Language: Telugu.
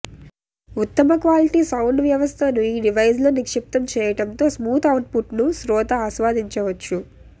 ఉత్తమ క్వాలిటీ సౌండ్ వ్యవస్థను ఈ డివైజ్లో నిక్షిప్తం చెయ్యటంతో స్మూత్ అవుట్ పుట్ను శ్రోత ఆస్వాదించవచ్చు